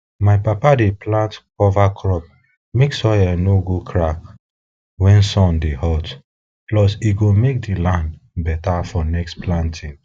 my papa dey plant cover crop mek soil no go crack when sun dey hot plus e go make di land better for next planting